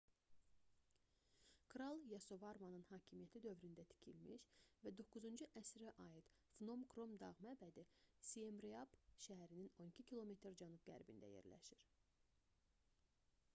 kral yasovarmanın hakimiyyəti dövründə tikilmiş və 9-cu əsrə aid phnom krom dağ məbədi siemreap şəhərinin 12 km cənub-qərbində yerləşir